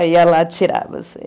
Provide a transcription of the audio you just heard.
Aí ia lá tirar você.